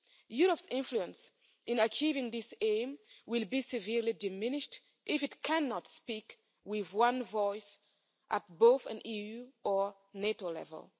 Europe's influence in achieving this aim will be severely diminished if it cannot speak with one voice at both an EU or NATO level.